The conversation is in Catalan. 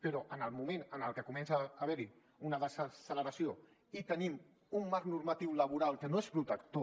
però en el moment en què comença a haver hi una desacceleració i tenim un marc normatiu laboral que no és protector